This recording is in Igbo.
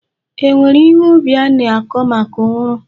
E nwere ihe ubi a na-akọ maka uru.